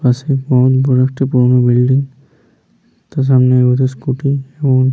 পাশে বহুত বড় একটা পুরোনো বিল্ডিং । তার সামনে একটা স্কুটি এবং--